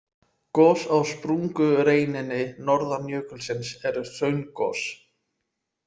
Gos á sprungureininni norðan jökulsins eru hraungos.